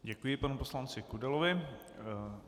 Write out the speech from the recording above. Děkuji panu poslanci Kudelovi.